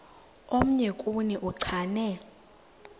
omnye kuni uchane